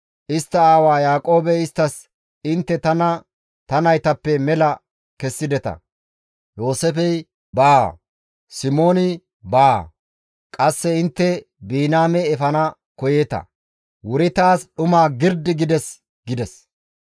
Istta aawa Yaaqoobey isttas, «Intte tana ta naytappe mela kessideta; Yooseefey baawa, Simooni baawa; qasse intte Biniyaame efana koyeeta. Wuri taas dhuma girdi gides» gides.